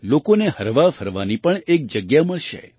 લોકોને હરવાફરવાની પણ એક જગ્યા મળશે